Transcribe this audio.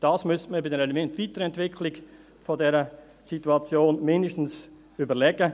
Dies müsste man bei der Weiterentwicklung dieser Situation zumindest überlegen.